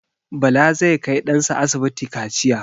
Bala zai kai ɗan sa asibiti kaciya.